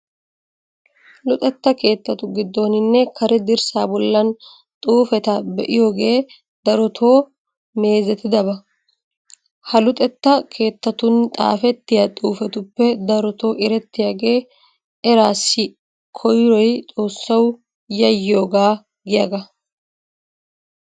Luxetta keettatu giddooninne Kare dirssaa bollan xuufeta be'iyogee darotoo meezetidoba. Ha luxetta keettatun xaafettiya xuufetuppe darotoo erettiyagee "eraassi koyroy xoossawu yayyiyogaa" giyagaa.